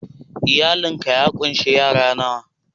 Iyalin ka ya kunsi yara nawa??